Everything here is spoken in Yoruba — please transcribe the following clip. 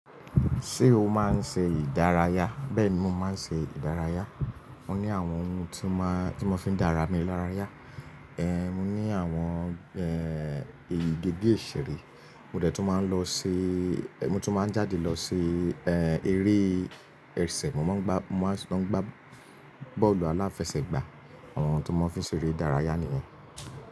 Ṣé o máa ń ṣe ìdárayá? Bẹ́ẹ̀ni mo máa ń ṣe ìdárayá. Mo ní àwọn ohun tí mo, tí mo fi ń dára mi lára yá. Ehn, mo ní àwọn èyí gígé ìṣeré. Mo dẹ̀ tún máa ń lọ se, mo tún máa ń jáde lọ se, eré ẹsẹ̀. Mo máa ń gbá, mo máa tun máa ń gbá bọ́ọ̀lù aláfẹsẹ̀gbá. Àwọn ohun tí mo fi ń ṣe eré ìdárayá nìyẹn.